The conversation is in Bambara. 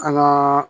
An ŋaa